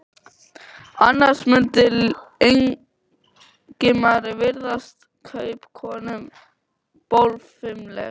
Annars mundi Ingimari virðast kaupakonan bólfimleg.